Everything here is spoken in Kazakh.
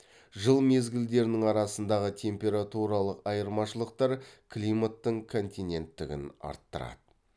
жыл мезгілдерінің арасындағы температуралық айырмашылықтар климаттың континенттігін арттырады